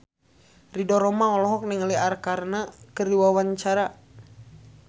Ridho Roma olohok ningali Arkarna keur diwawancara